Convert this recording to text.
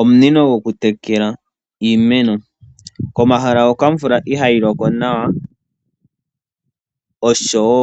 Omunino gokutekela iimeno, komahala hoka omvula ihaayiloko nawa osho wo